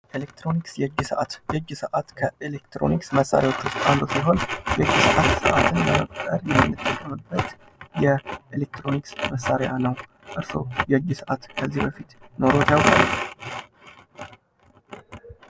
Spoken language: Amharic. ኤሌክትሮኒክስ የእጅ ሰአት። የእጅ ሰአት ከኤሌክትሮኒክስ መሳርያዎች ውስጥ አንዱ ሲሆን የእጅ ሰአት ሰአትን ለመቁጠር የምንጠቀምበት የኤሌክትሮኒክስ መሳርያ ነው። እርስዎ ከዚህ በፊት የእጅ ሰአት ኑሮዎት ያውቃል?